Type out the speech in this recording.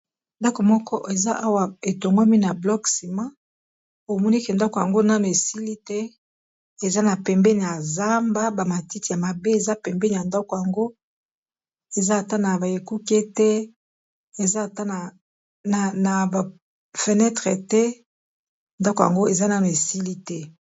Ndako moko eza awa etongwami na blok sima omoni ke ndako yango na na esili te eza na pembeni ya zamba bamatiti ya mabe eza pembeni ya ndako yango eza ata na baekuke te na ba fenetre te ndako yango eza na na esili te.